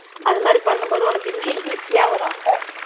அது மாதிரி பண்ணும் போது உனக்கு இன்னும் easy ஆ வரும் அப்போ